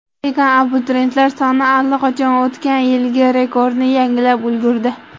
Lekin abituriyentlar soni allaqachon o‘tgan yilgi rekordni yangilab ulgurdi.